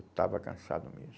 Eu estava cansado mesmo.